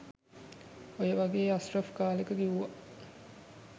ඔය වගේ අස්රෆ් කාලෙක කිව්වා